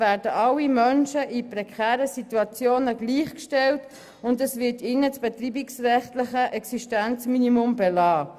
Alle Menschen in prekären Situationen werden gleichgestellt und das betreibungsrechtliche Existenzminimum wird ihnen belassen.